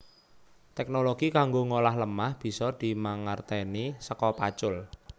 Teknologi kanggo ngolah lemah bisa dimangertèni saka pacul